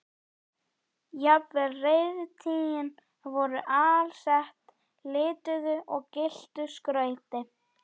Jafnvel reiðtygin voru alsett lituðu og gylltu skrauti.